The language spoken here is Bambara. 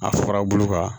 A fara bolo kan